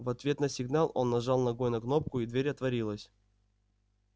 в ответ на сигнал он нажал ногой на кнопку и дверь отворилась